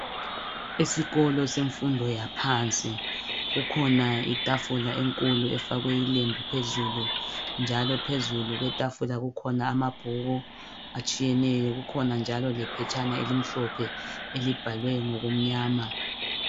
Esikolo semfundo yaphansi kukhona itafula enkulu efakwe ilembu phezulu, njalo phezulu kwetafula kukhona amabhuku atshiyeneyo kukhona njalo lephetshana elinhlophe elibhalwe ngokumnyama.